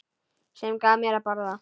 Sem gaf mér að borða.